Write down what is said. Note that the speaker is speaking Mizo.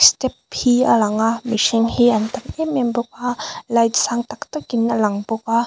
step hi a lang a mihring hi an tam em em bawk a light sang tak tak in an lang bawk a.